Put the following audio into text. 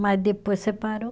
Mas depois separou.